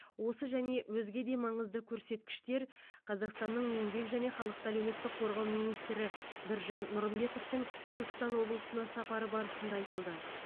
осы және өзге де маңызды көрсеткіштер қазақстанның еңбек және халықты әлеуметтік қорғау министрі біржан нұрымбетовтың түркістан облысына сапары барысында айтылды